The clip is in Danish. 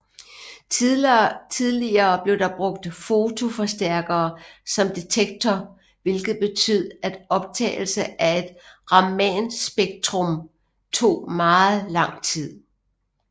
Tidligere blev der brugt fotoforstærkere som detektorer hvilket betød at optagelse af et ramanspektrum tog meget lang tid